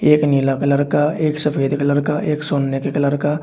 एक नीला कलर का एक सफेद कलर का एक सोने के कलर का --